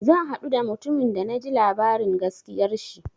Zan haɗu da mutumin da na ji labarin gaskiyar shi.